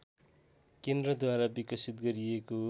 केन्द्रद्वारा विकसित गरिएको